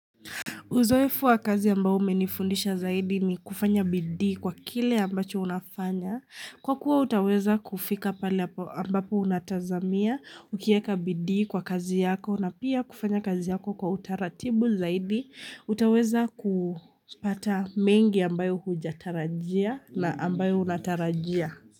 Uzoefu wa kazi ambao umenifundisha zaidi ni kufanya bidi kwa kile ambacho unafanya. Kwa kuwa utaweza kufika pale ambapo unatazamia, ukieka bidi kwa kazi yako na pia kufanya kazi yako kwa utaratibu zaidi. Utaweza kupata mengi ambayo huja tarajia na ambayo unatarajia.